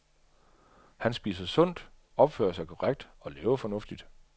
Han spiser sundt, opfører sig korrekt og lever fornuftigt.